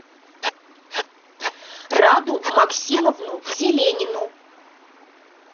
раду максимовну зеленину